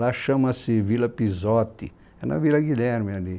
Lá chama-se Vila Pisote, é na Vila Guilherme ali.